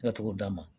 Ka t'o d'a ma